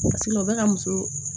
o bɛ ka muso